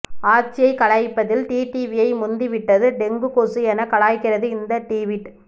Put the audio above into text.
ஆட்சியைக் கலைப்பதில் டிடிவியை முந்தி விட்டது டெங்கு கொசு என கலாய்க்கிறது இந்த டிவிட்